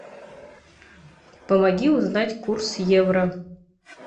помоги узнать курс евро